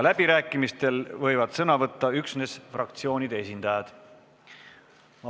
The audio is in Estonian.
Läbirääkimistel võivad sõna võtta üksnes fraktsioonide esindajad.